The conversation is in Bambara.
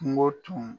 Kungo tun